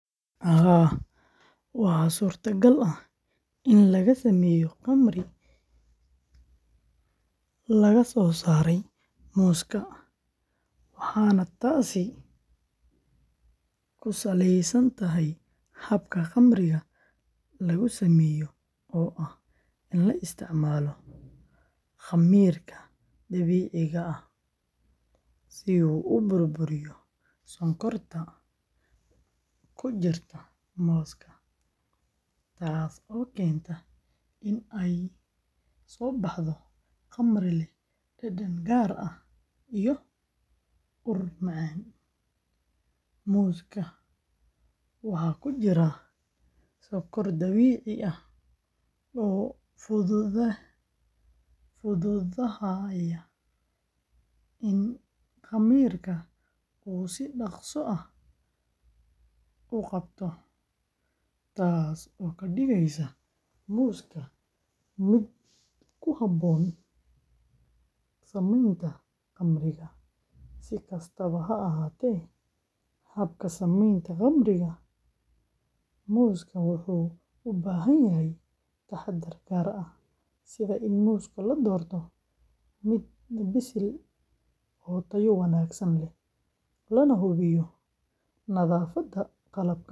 Haa, waxaa suurtagal ah in laga sameeyo khamri laga soosaaray muuska, waxaana taasi ku saleysan tahay habka khamriga lagu sameeyo oo ah in la isticmaalo khamiirka dabiiciga ah si uu u burburiyo sonkorta ku jirta muuska, taasoo keenta in ay soo baxdo khamri leh dhadhan gaar ah iyo ur macaan. Muuska waxaa ku jira sonkor dabiici ah oo fududahay in khamiirka uu si dhakhso ah u qabto, taas oo ka dhigaysa muuska mid ku habboon samaynta khamriga. Si kastaba ha ahaatee, habka samaynta khamriga muuska wuxuu u baahan yahay taxadar gaar ah, sida in muuska la doorto mid bisil oo tayo wanaagsan leh, lana hubiyo nadaafadda qalabka.